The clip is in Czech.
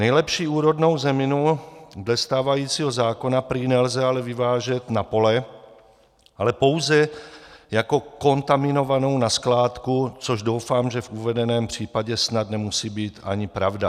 Nejlepší úrodnou zeminu dle stávajícího zákona prý ale nelze vyvážet na pole, ale pouze jako kontaminovanou na skládku, což doufám, že v uvedeném případě snad nemusí být ani pravda.